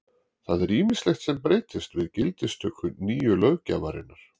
Það er ýmislegt sem breytist við gildistöku nýju löggjafarinnar.